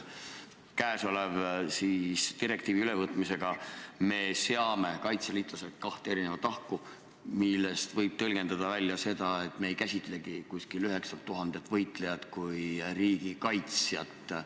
Kõnealuse direktiivi ülevõtmisega me seame kaitseliitlased kahte erinevasse rühma, mida võib tõlgendada nii, et me ei käsitlegi umbes 9000 võitlejat kui riigikaitsjat.